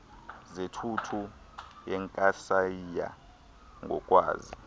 zothuthu zenkasayiya ngokwazi